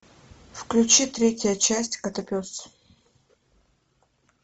включи третья часть котопес